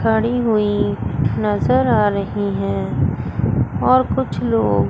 खड़ी हुई नजर आ रही हैं और कुछ लोग--